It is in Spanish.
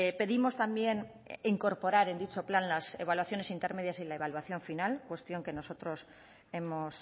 pedimos también incorporar en dicho plan las evaluaciones intermedias y la evaluación final cuestión que nosotros hemos